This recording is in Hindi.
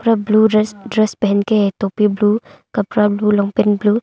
ब्लू ड्रेस ड्रेस पहन के है टोपी ब्लू कपड़ा ब्लू ब्लू ।